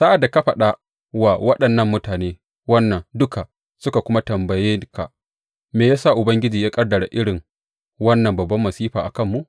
Sa’ad da ka faɗa wa waɗannan mutane wannan duka suka kuma tambaye ka, Me ya sa Ubangiji ya ƙaddara irin wannan babban masifa a kanmu?